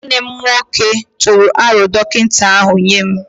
Nwanne m nwoke tụrụ aro dọkịta ahu nye m